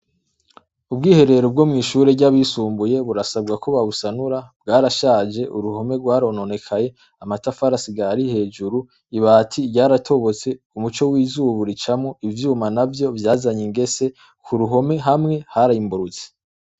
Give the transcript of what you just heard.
Ubwiherero bwo mw'ishure ry'abisumbuye burasabwa ko babusanura, bwarashaje uruhome rwarononekaye, amatafari asigaye ari hejuru, ibati ryaratobotse umuco w'izuba uricamwo, ivyuma navyo vyazanye ingese, ku ruhome hamwe harimburutse.